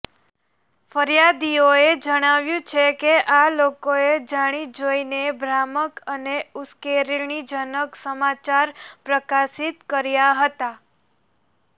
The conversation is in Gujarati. ફરિયાદીએ જણાવ્યું છે કે આ લોકોએ જાણી જોઈને ભ્રામક અને ઉશ્કેરણીજનક સમાચાર પ્રકાશિત કર્યા હતા